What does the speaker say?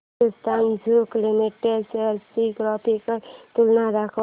Hindustan Zinc Limited shares ची graphical तुलना दाखव